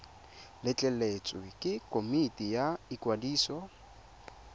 letleletswe ke komiti ya ikwadiso